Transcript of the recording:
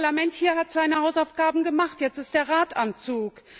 Das Parlament hier hat seine Hausaufgaben gemacht, jetzt ist der Rat am Zug.